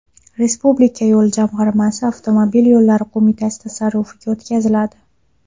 Respublika yo‘l jamg‘armasi Avtomobil yo‘llari qo‘mitasi tasarrufiga o‘tkaziladi.